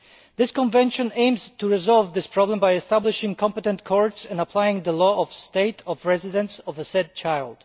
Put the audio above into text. This Convention aims to resolve this problem by establishing competent courts and applying the law of the state of residence of the said child.